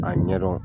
A ɲɛdɔn